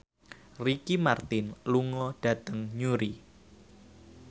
Ricky Martin lunga dhateng Newry